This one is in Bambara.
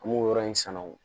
An b'o yɔrɔ in sanu